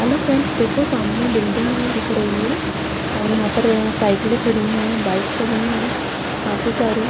hello friends देखो सामने building है दिख रही है और यहाँ पर अ साइकिलें खड़ी हैं बाइक खड़ी हैं काफी सारी --